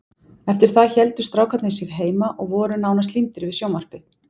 Eftir það héldu strákarnir sig heima og voru nánast límdir við sjónvarpið.